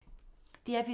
DR P3